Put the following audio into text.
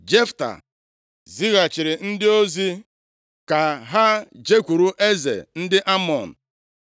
Jefta zighachiri ndị ozi ka ha jekwuru eze ndị Amọn,